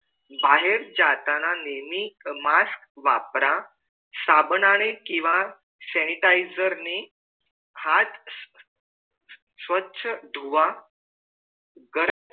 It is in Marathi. बाहेर जाताना नेहमी mask वापर साबनाने किंवा sanitizer नी हाथ स्वछ धुवा